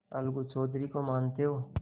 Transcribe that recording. अलगू चौधरी को तो मानते हो